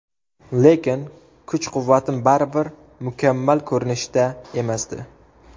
Lekin kuch-quvvatim baribir mukammal ko‘rinishda emasdi.